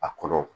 A kɔrɔ